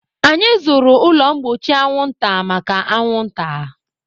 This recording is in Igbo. Anyị zụrụ ụlọ mgbochi anwụnta maka anwụnta.